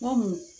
Kɔmu